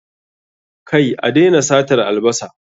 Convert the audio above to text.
Kai, a daina satar albasa